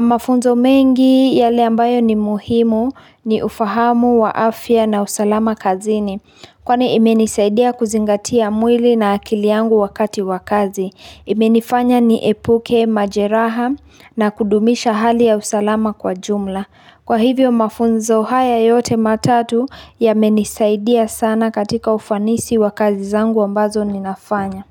Mafunzo mengi yale ambayo ni muhimu ni ufahamu wa afya na usalama kazini Kwani imenisaidia kuzingatia mwili na akili yangu wakati wa kazi imenifanya niepuke majeraha na kudumisha hali ya usalama kwa jumla Kwa hivyo mafunzo haya yote matatu yamenisaidia sana katika ufanisi wa kazi zangu ambazo ninafanya.